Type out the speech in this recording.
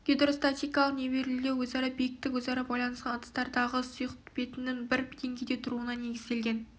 гидростатикалық нивелирлеу өзара биіктік өзара байланысқан ыдыстардағы сұйық бетінің бір денгейде тұруына негізделген